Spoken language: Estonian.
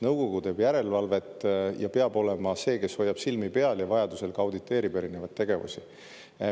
Nõukogu teeb järelevalvet ja peab olema see, kes hoiab silma peal ja vajadusel ka auditeerib erinevaid tegevusi.